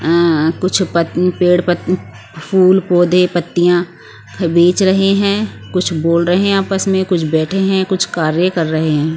आं कुछ प पेड़ प फूल पौधे पत्तियां बेच रहे हैं कुछ बोल रहे हैं आपस में कुछ बैठे हैं कुछ कार्य कर रहे हैं।